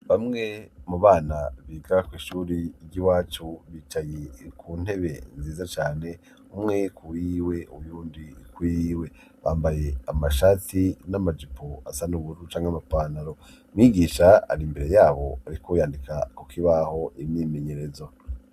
Bamwe mu bana biga kw' ishuri ry'iwacu, bicaye ku ntebe nziza cane ; umwe kuyiwe uyundi kuyiwe. Bambaye amashati n'amajipo asa n ubururu canke amapantaro Mwigisha ari imbere yabo ariko arandika ku kibaho imyimenyerezo.